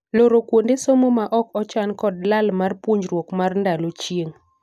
Loro kuonde somo ma ok ochan kod lal mar puonjruok mar ndalo chieng'.